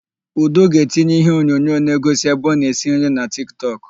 Udo ga-etinye iheonyonyo na-egosi ebe ọ na-esi nri na Tiktọk.